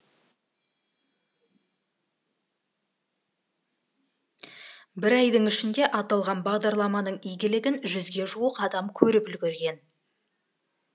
бір айдың ішінде аталған бағдарламаның игілігін жүзге жуық адам көріп үлгерген